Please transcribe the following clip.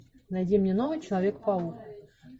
найди мне новый человек паук